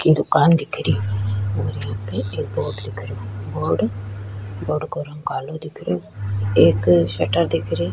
की दुकान दिख रही और यहाँ पे एक बोर्ड दिख रियो बोर्ड बोर्ड का रंग कालो दिख रहिओ एक शटर दिख रही।